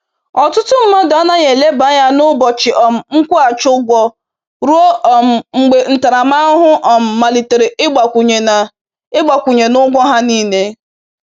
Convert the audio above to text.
Ọtụtụ mmadụ anaghị eleba anya na ụbọchị um nkwụghachi ụgwọ ruo um mgbe ntaramahụhụ um malitere ịgbakwunye na ịgbakwunye na ụgwọ ha niil